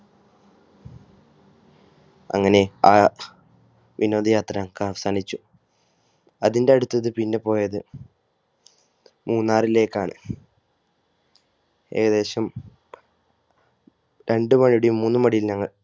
അങ്ങനെ ആ വിനോദയാത്ര അവസാനിച്ചു. അതിന്റെ അടുത്തത് പിന്നെ പോയത് മൂന്നാറിലേക്ക് ആണ്. ഏകദേശം രണ്ടു മണിയുടെയും മൂന്ന് മാണിയുടെയും ഞങ്ങൾ